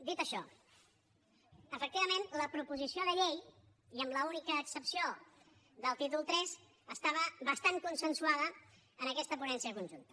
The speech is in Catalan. dit això efectivament la proposició de llei i amb l’única excepció del tí tol iii estava bastant consensuada en aquesta ponència conjunta